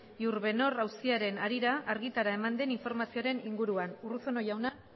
iurbenor auziaren harira argitara eman den informazioaren inguruan urruzuno jauna